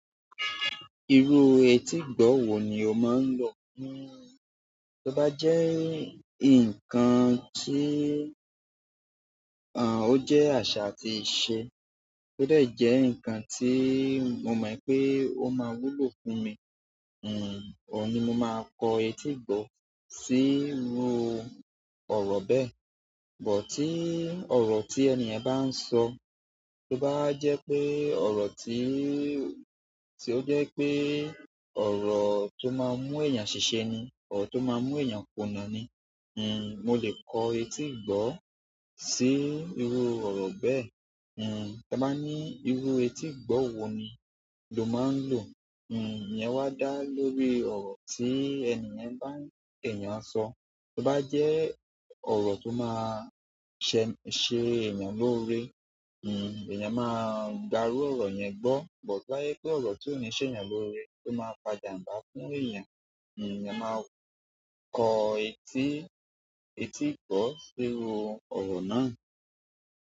Irú etígbọ̀ọ̀ wo ni o máa ń lò fún. Tí ó bá jẹ́ nǹkan tí, à, ó jẹ́ àṣà àti ìṣe, ó dẹ̀ jẹ́ ǹkan tí mo mọ̀ pé ó máa wúlò fún mi, hm, òun ni mo máa kọ etígbọ̀ọ̀ sí irú ọ̀rọ̀ bẹ́ẹ̀. Bọ̀ tí ọ̀rọ̀ tí ènìyàn bá ń sọ, tó bá jẹ́ pé ọ̀rọ̀ tí, tí ó jẹ́ pé ọ̀rọ̀ tó máa mú èèyàn ṣiṣẹ́ ni, ọ̀rọ̀ tó máa mú èèyàn kùnà ni, hm, mo lè kọ etígbọ̀ọ̀ sí irú ọ̀rọ̀ bẹ́ẹ̀. Hm, tí a bá ní irú etígbọ̀ọ̀ wo ni lo máa ń lò, hm, ìyẹn wá dá lórí ọ̀rọ̀ tí ènìyen n bá, èèyàn sọ. Tó bá jẹ́ ọ̀rọ̀ tó máa ṣe, ṣe èèyàn lórí, hm, èèyàn máa gbarú ọ̀rọ̀ yẹn gbọ́. Bọ̀ tó yẹ pé ọ̀rọ̀ tó ní ṣe èèyàn lórí, tó máa pajàǹba fún èèyàn, hm, èèyàn máa kọ etí, etígbọ̀ọ̀ sí irú ọ̀rọ̀ náà.